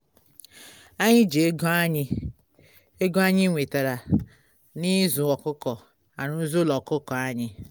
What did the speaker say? anyị ji ego anyị ego anyị nwetara na-ịzụ ọkụkọ arụzi ụlọ ọkụkọ anyị